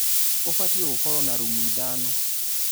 ũbatie gũkorwo na rumu ithano.